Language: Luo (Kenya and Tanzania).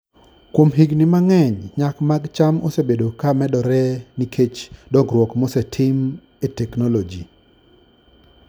Kuom higini mang'eny, nyak mag cham osebedo ka medore nikech dongruok mosetim e teknoloji.